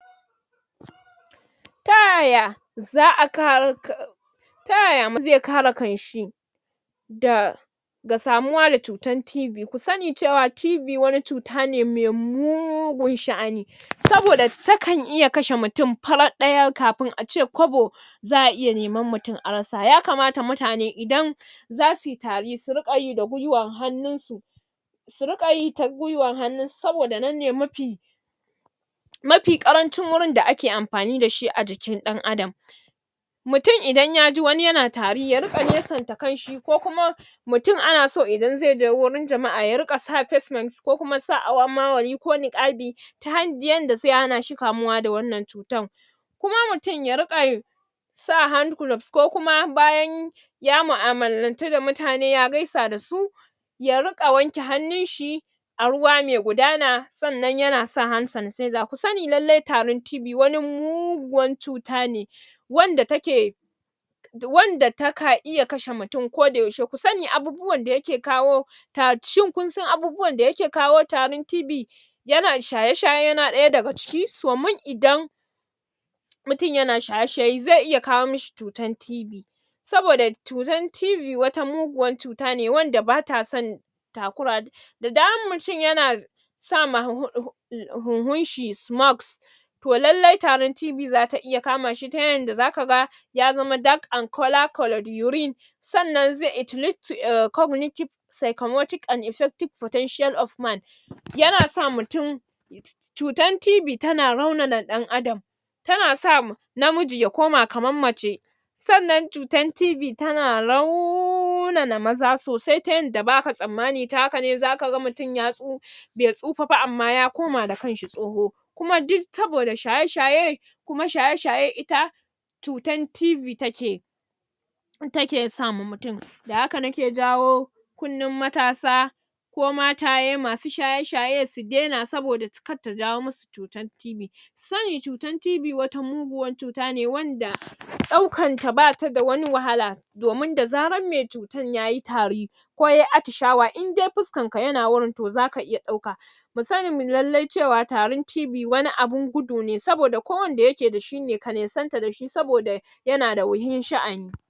Ta yaya za'a kare kan Ta yaya mm zai kare kansh i da ga samuwa da cutar TIV, ku sani cewa TIV wani cuta ne mai mugun sha'ani saboda takan iya kashe mutum farat ɗaya kafin kace kwabo za'a iya neman mutum a rasa yakamata mutane idan zasuyi tari su riƙa yi da gwiwar hannun su su riƙa yi ta gwiwar hannun su saboda nan ne mafi mafi ƙarancin wurin da ake amfin dashi a jikin ɗan Adam mutum idan yaji wani yana tari ya riƙa nesan ta kasan shi ko kuma mutum ana so idan zai je warin jama'a ya riƙa sa facemask ko kuma sa awammawali ko niƙafi ta handiyan da zai hana shi kamuwa da wannan cutar kuma mutum ya riƙa sa handgloves ko kuma bayan ya mu'amalantu da mutane ya gaisa dasu ya riƙa wanke hannun shi a ruwa mai gudana sannan yana sa hand sanatizer ku sani lallai tarin TIV wani muguwan cutane wanda take wanda taka iya kashe mutum koda yaushe ku sani abubuwan da yake kawo ta shin kusan abubuwan da yake kawo tarin TIV yana shaye-shaye yana ɗaya daga ciki, so min idan mutum yana shaye-shaye zai iya kawo mishi cutar TIV saboda cutar TIV wata muguwar cuta ne wanda bata san ta kura da da damar mutum yana z zama um huhunshi smokes to allai tarin TIV zata iya kama shi ta yadda zaka ga ya zama dark and color colored urine sannan it lead to a cognitive psychomotive and affective potential of man yana sa mutum cutar TIV tana raunana ɗan Adam tana sa namiji ya koma kamar mace sannan cutar TIV tana raunana maza sosai ta yadda ba'a tsammani ta hakane zaka mutum ya tso bai tsofa ba amma ya koma da kansa tsoho ku duk saboda shaye-shaye kuma shaye-shaye ita cutan TIV take take sama mutum da haka nake jawo kunnan matasa ko mataye masu shaye-shaye su daina saboda kar ta jawo musu cutar TIV ku sani cutan TIV wata muguwar ne wanda ɗaukar ta bata da wani wahala domin da zarar mai cutar yayi tari ko yayi atishawa idai fuskarka yana wurin to zaka iya ɗauka mu sani lallai cewa tarin TIV wani abun gudu ne saboda ko wanda yake dashi ka nesanta dashi saboda saboda yana da wuyar sha'ani